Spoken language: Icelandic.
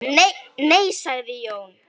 Nei sagði Jón.